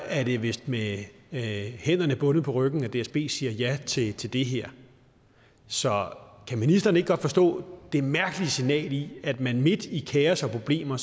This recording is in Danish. er det vist med hænderne bundet på ryggen at dsb siger ja til til det her så kan ministeren ikke godt forstå det mærkelige signal i at man midt i kaos og problemer